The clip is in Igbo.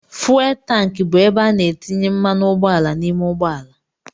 Fụwel tanki bụ ebe a na-etinye mmanụ ụgbọala n'ime ụgbọala.